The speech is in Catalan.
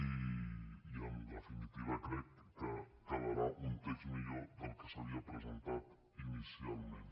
i en definitiva crec que quedarà un text millor del que s’havia presentat inicialment